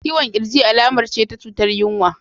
Ciwon kirji alamar ce ta cutar yinwa.